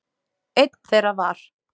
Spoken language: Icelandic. Einn þeirra var